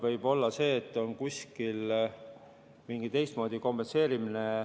Võib olla, et kuskil on mingi teistmoodi kompenseerimine.